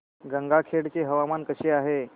गंगाखेड चे हवामान कसे आहे